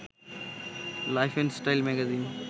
life and style magazine